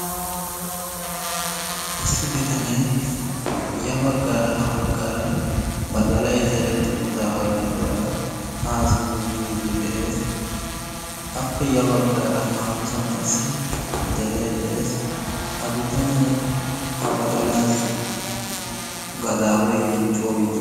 issi bitanee ya baggaara ha baggaara badalay zeretti uttaaga gidduwaara haa simmidi yiiddi de7ees. appe ya baggaara haahoosan qassi deree de7ees. ha bitanee ha badalaasi gadaaweeye coo yii?